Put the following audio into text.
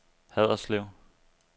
Haderslev